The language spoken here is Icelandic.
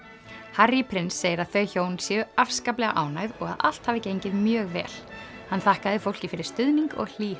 Harry prins segir að þau hjón séu afskaplega ánægð og að allt hafi gengið mjög vel hann þakkaði fólki fyrir stuðning og hlýhug